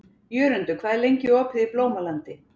Jörundur, hvað er lengi opið í Blómalandi?